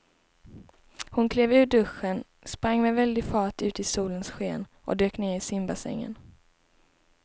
Hon klev ur duschen, sprang med väldig fart ut i solens sken och dök ner i simbassängen.